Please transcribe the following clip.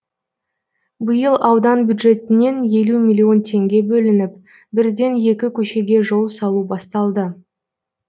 биыл аудан бюджетінен елу миллион теңге бөлініп бірден екі көшеге жол салу басталды